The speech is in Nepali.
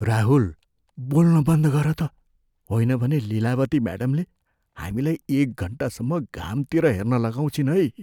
राहुल! बोल्न बन्द गर त, होइन भने लिलावती म्याडमले हामीलाई एक घन्टासम्म घामतिर हेर्न लगाउँछिन् है।